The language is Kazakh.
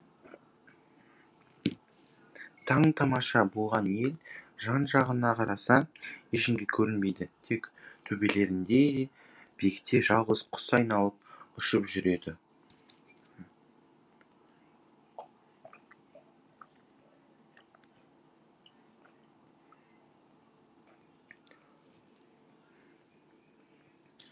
таң тамаша болған ел жан жағына қараса ештеңе көрінбейді тек төбелерінде биікте жалғыз құс айналып ұшып жүреді